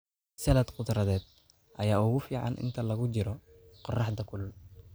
Salad khudradeed ayaa ugu fiican inta lagu jiro qorraxda kulul.